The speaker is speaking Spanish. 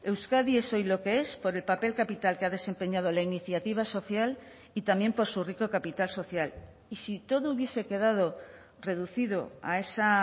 euskadi es hoy lo que es por el papel capital que ha desempeñado la iniciativa social y también por su rico capital social y si todo hubiese quedado reducido a esa